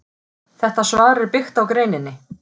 Þetta svar er byggt á greininni.